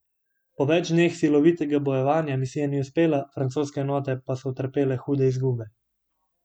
Po več dneh silovitega bojevanja misija ni uspela, francoske enote pa so utrpele hude izgube.